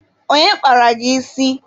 Onye kpara gị isi?